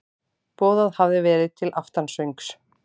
Boðað hafði verið til aftansöngs.